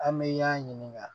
An bɛ y'an ɲininga